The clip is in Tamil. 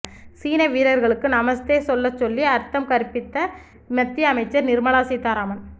சீன வீரர்களுக்கு நமஸ்தே சொல்லச் சொல்லி அர்த்தம் கற்பித்த மத்திய அமைச்சர் நிர்மலா சீதாராமன்